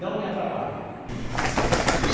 Não me atrapalhem.